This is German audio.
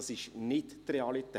Das ist nicht die Realität.